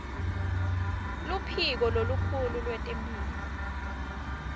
luphiko lolukhulu lwetemphilo